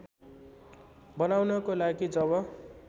बनाउनको लागि जब